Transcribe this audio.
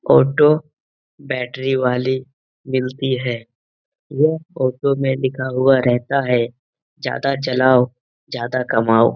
Auto battery वाली मिलती है। यह ऑटो में लिखा हुआ रहता है ज्यादा चलाओ ज्यादा कमाओ।